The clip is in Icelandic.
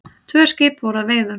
Tvö skip voru að veiðum.